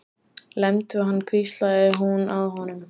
Lemdu hann hvíslaði hún að honum.